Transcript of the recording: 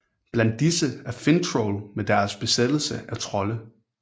Blandt disse er Finntroll med deres besættelse af trolde